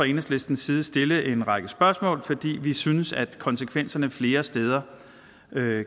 enhedslistens side stille en række spørgsmål fordi vi synes at konsekvenserne flere steder